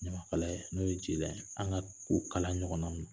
Ɲamakalaya n'o ye jeliya ye, an ka o kala ɲɔgɔn na